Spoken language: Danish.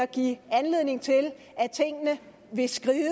give anledning til at tingene vil skride